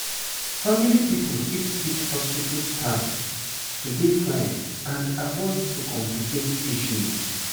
family pipo fit teach hospitu staff to dey fine and avoid to complicate issues